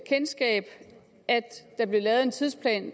kendskab at der blev lavet en tidsplan